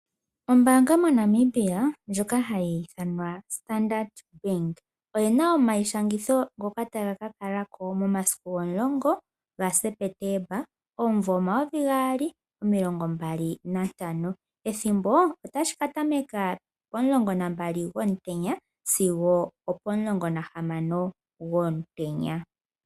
Ombaanga moNamibia ndjoka hayi ithanwa Standard bank, oyi na omayishangitho ngoka taga ka kala ko momasiku 10 gaSepetemba 2025, ethimbo otashi ka tameka po12 gwomutenya sigo 16h00 gwomutenya.